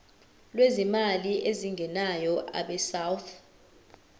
lwezimali ezingenayo abesouth